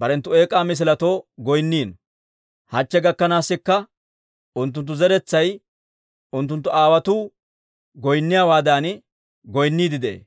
barenttu eek'aa misiletoo goynniino. Hachche gakkanaasikka unttunttu zeretsay unttunttu aawotuu goynniyaawaadan goynniidde de'ee.